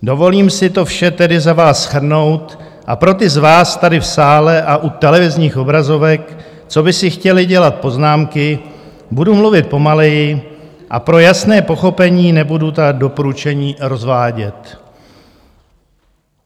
Dovolím si to vše tedy za vás shrnout a pro ty z vás tady v sále a u televizních obrazovek, co by si chtěli dělat poznámky, budu mluvit pomaleji a pro jasné pochopení nebudu ta doporučení rozvádět.